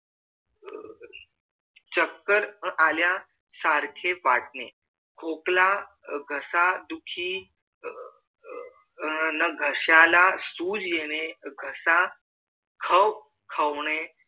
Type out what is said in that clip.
चकर आल्या सारखं वाटणे खोकला घसा दुखी अह घश्याला सूज येणे घसा खवखने